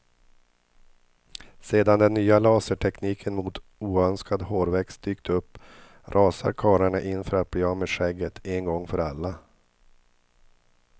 Sedan den nya lasertekniken mot oönskad hårväxt dykt upp rasar karlarna in för att bli av med skägget, en gång för alla.